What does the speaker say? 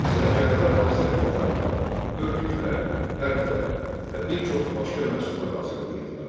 Sənətkarlar hazır paltarlar, örtüklər, pərdələr və bir çox başqa məhsullar hazırlayırdılar.